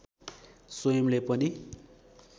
स्वयंले पनि